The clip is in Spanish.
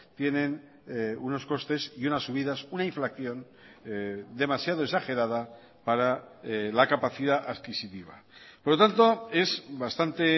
tienen unos costes y unas subidas una inflación demasiado exagerada para la capacidad adquisitiva por lo tanto es bastante